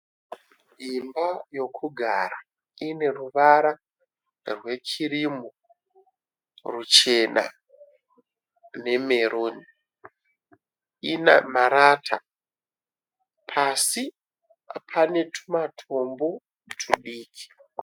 Imba yokugara, ine ruvara rwekirimu, ruchena, nemeruni. Inemarata, pasi panetumatombo tudiki